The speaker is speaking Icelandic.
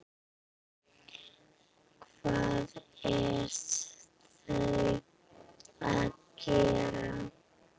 Hvað eru þau að gera?